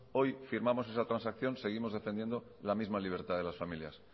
hoy firmamos esa transacción seguimos defendiendo la misma libertad de las familias